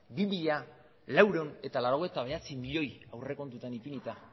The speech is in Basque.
bi mila laurehun eta laurogeita bederatzi milioi aurrekontuetan ipinita